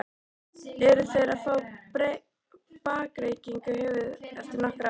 Eru þeir að fá bakreikning í höfuðið eftir nokkur ár?